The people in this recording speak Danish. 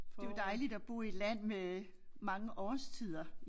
Det jo dejligt at bo i et land med mange årstider